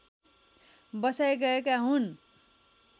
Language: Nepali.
बसाइ गएका हुन्